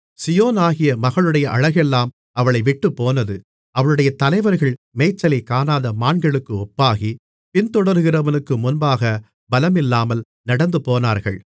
சீயோனாகிய மகளுடைய அழகெல்லாம் அவளை விட்டுப்போனது அவளுடைய தலைவர்கள் மேய்ச்சலைக் காணாத மான்களுக்கு ஒப்பாகி பின்தொடருகிறவனுக்கு முன்பாக பலமில்லாமல் நடந்துபோனார்கள்